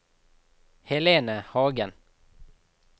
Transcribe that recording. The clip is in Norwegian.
Helene Hagen